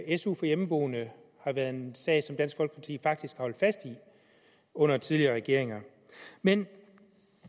at su for hjemmeboende har været en sag som dansk folkeparti faktisk har holdt fast i under tidligere regeringer men